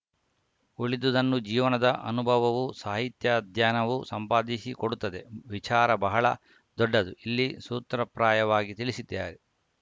ಉಳಿದುದನ್ನು ಜೀವನದ ಅನುಭವವೂ ಸಾಹಿತ್ಯಾಧ್ಯಯನವೂ ಸಂಪಾದಿಸಿಕೊಡುತ್ತದೆ ವಿಚಾರ ಬಹಳ ದೊಡ್ಡದು ಇಲ್ಲಿ ಸೂತ್ರಪ್ರಾಯವಾಗಿ ತಿಳಿಸಿದ್ದೇ